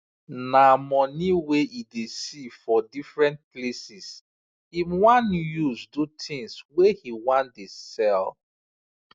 na money wey e dey see for different places him wan use do things wey he wan dey sell